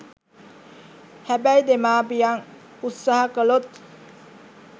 හැබැයි දෙමාපියන් උත්සාහ කළොත්